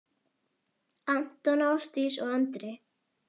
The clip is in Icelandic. Anton, Ásdís og Andri.